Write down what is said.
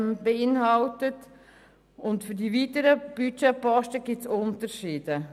Bei den weiteren Budgetposten gibt es Unterschiede: